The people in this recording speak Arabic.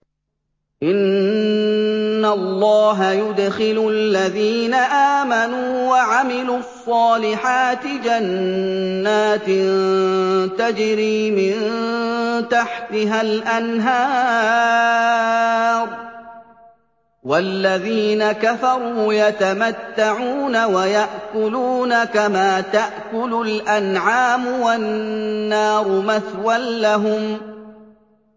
إِنَّ اللَّهَ يُدْخِلُ الَّذِينَ آمَنُوا وَعَمِلُوا الصَّالِحَاتِ جَنَّاتٍ تَجْرِي مِن تَحْتِهَا الْأَنْهَارُ ۖ وَالَّذِينَ كَفَرُوا يَتَمَتَّعُونَ وَيَأْكُلُونَ كَمَا تَأْكُلُ الْأَنْعَامُ وَالنَّارُ مَثْوًى لَّهُمْ